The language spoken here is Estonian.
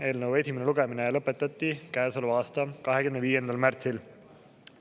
Eelnõu esimene lugemine lõpetati käesoleva aasta 25. märtsil.